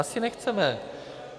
Asi nechceme.